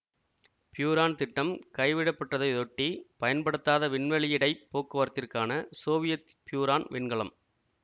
பியூரான் திட்டம் கைவிடப்பட்டதையொட்டி பயன்படுத்தாத விண்வெளியிடைப் போக்குவரத்திற்கான சோவியத் பியூரான் விண்கலம்